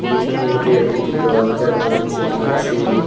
পিছন দিকে একটি দরজা দেখতে পাচ্ছি।